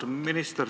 Austatud minister!